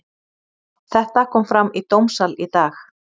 Þetta kom fram í dómssal í dag.